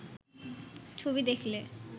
ছবি দেখলে